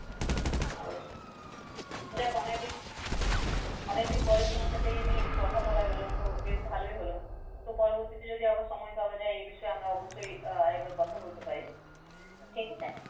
যাক অনেক দিন অনেকদিন পরে তোমার সাথে এই নিয়ে একটু কথা বলা গেল তো বেশ ভালই হল। তো পরবর্তী তে যদি আবার সময় পাওয়া যায় এই বিষয়ে আমরা অবশ্যই আহ আরেকবার কথা বলতে পারি, ঠিক আছে।